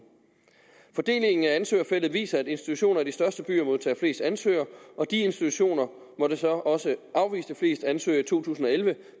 fordelingen af ansøgerfeltet viser at institutioner i de største byer modtager flest ansøgere og de institutioner måtte så også afvise flest ansøgere i to tusind og elleve